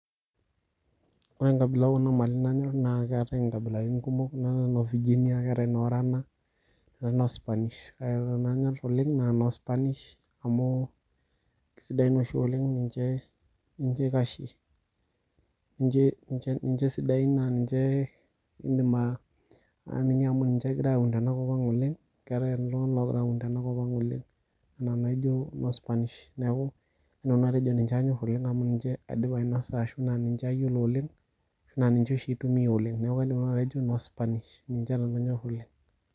Wore enkabila oo kuna mali nanyorr, naa keetae inkabilaritin kumok, neetae noo viginia, neetae noo orana, neetae noo Spanish kake wore enanyor oleng' naa noo spanish amuu kesidai naa oshi oleng' ninche eikashie. Ninche isidain naa ninche iindim aiamini amu ninche ekirae aun tenakop ang' oleng', keetae iltunganak ookira aun tenakop ang' oleng'. Ena naijo noo spanish, neeku, kaidim nanu atejo ninche anyorr oleng' amu ninche aidipa ainosa arashu ninche ayiolo oleng', naa ninche oshi aitumia oleng'. Neeku kaidim nanu atejo noo spanish ninche nanu aanyor oleng'.